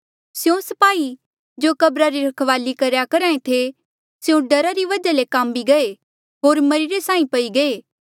स्यों स्पाही जो कब्रा री रखवाली करेया करहा ऐें थे स्यों डरा री वजहा ले काम्मी गये होर मरिरे साहीं पई गये